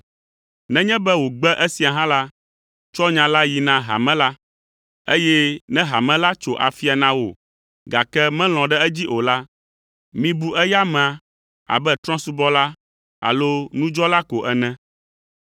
Nenye be wògbe esia hã la, tsɔ nya la yi na hame la, eye ne hame la tso afia na wò, gake melɔ̃ ɖe edzi o la, mibu eya amea abe trɔ̃subɔla alo nudzɔla ko ene.